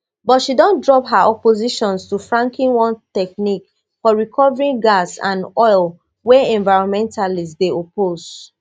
but she don drop her opposition to fracking one technique for recovering gas and oil wey environmentalists dey oppose